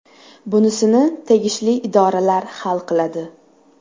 Bunisini tegishli idoralar hal qiladi.